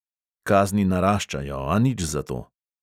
Kazni naraščajo, a nič zato.